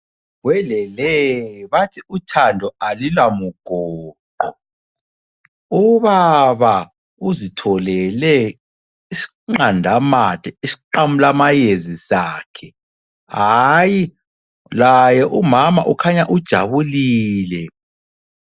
Welele, bathi umthando alulamugoqo! Ubaba uzitholele isiqandamathe isiqamulamayezi sakhe hayi laye umama ukhanya ujabulile.